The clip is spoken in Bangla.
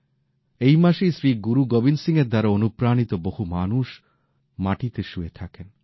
এই মাসেই শ্রীগুরু গোবিন্দ সিং এর দ্বারা অনুপ্রাণিত বহু মানুষ মাটিতে শুয়ে থাকেন